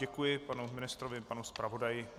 Děkuji panu ministrovi i panu zpravodaji.